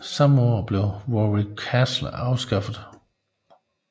Samme år blev Warwick Castle anskaffet